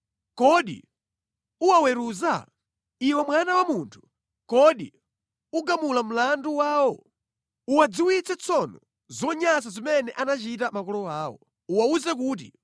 “Kodi uwaweruza? Iwe mwana wa munthu, kodi ugamula mlandu wawo? Uwadziwitse tsono zonyansa zimene anachita makolo awo, uwawuze kuti,